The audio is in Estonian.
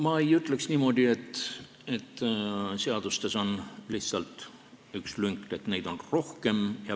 Ma ei ütleks niimoodi, et seadustes on üks lünk, neid on rohkem.